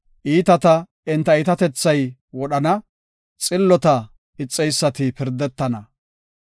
Iitata enta iitatethay wodhana; xillota ixeysati pirdetana.